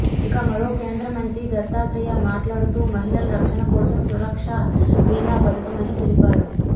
ఇక మరో కేంద్ర మంత్రి దత్తాత్రేయ మాట్లాడుతూ మహిళల రక్షణ కోసం సురక్షా బీమా పథకమని తెలిపారు